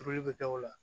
Turuli bɛ kɛ o la